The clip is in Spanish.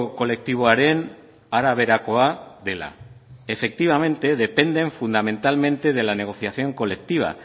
kolektiboaren araberakoa dela efectivamente dependen fundamentalmente de la negociación colectiva